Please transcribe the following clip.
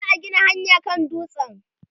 za'a Gina hanyaa kan dutsen